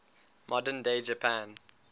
modern day japan